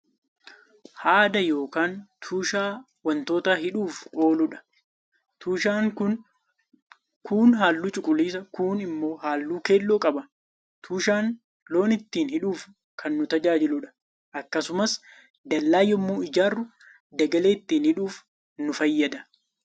Haada yookaan tushaa waantoota hidhuuf ooluudha. Tushaan Kun, kuun halluu cuquliisa kuun immoo halluu keelloo qaba. Tushaan loon ittiin hidhuuf Kan nu tajaajiluudha akkasumas dallaa yemmuu ijaarru dagalee ittiin hidhuuf nu fayyada.